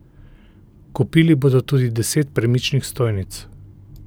Kupili bodo tudi deset premičnih stojnic.